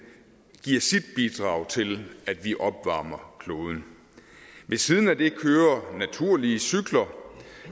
giver sit bidrag til at vi opvarmer kloden ved siden af det kører naturlige cykler